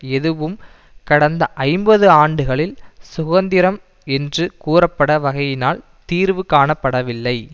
ஏதுவும் கடந்த ஐம்பது ஆண்டுகளில் சுகந்திரம் என்று கூறபட்ட வகையினால் தீர்வு காணப்படவில்லை